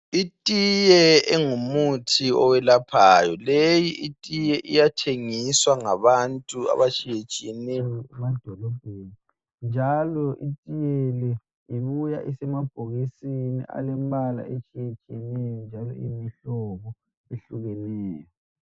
Itiye engumuthi owelaphayo leyi itiye iyathengiswa ngabantu abatshiyetshieneyo emadolobheni njalo itiye le ibuya isemabhokisini alembala etshiyetshiyeneyo njalo iyimihlobo ehlukeneyo.